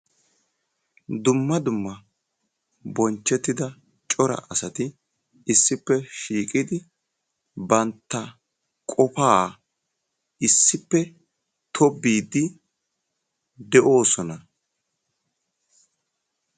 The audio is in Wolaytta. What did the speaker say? dumma dumma bonchchettida cora asati issippe shiiqidi bantta qofaa issippe tobbiiddi de'oosona.